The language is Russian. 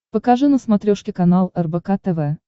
покажи на смотрешке канал рбк тв